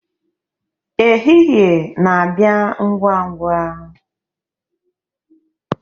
ehihie na-abịa ngwa ngwa